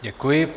Děkuji.